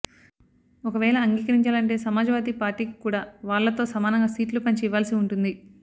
ఒకవేళ అంగీకరించాలంటే సమాజ్ వాదీ పార్టీకి కూడా వాళ్ళతో సమానంగా సీట్లు పంచి ఇవ్వాల్సి ఉంటుంది